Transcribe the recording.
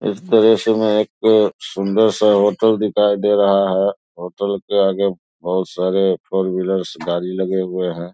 इस तस्वीर में एक सुंदर सा होटल दिखाई दे रहा है होटल के आगे बहुत सारे फोर व्हीलर्स गाड़ी लगे हुए हैं।